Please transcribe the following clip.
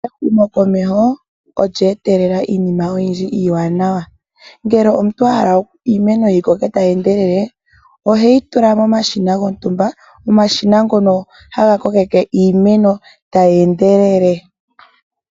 Ehumokomeho olya etelela iinima oyindji iiwanawa ngele omuntu ahala iimeno yi koke tayi ende lele oheyi tula momashina gontumba, omashina ngono haga kokeke iimeno tayi endelele.